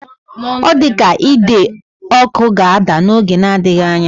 Ọ dị ka ide ọkụ ga-ada n'oge na-adịghị anya.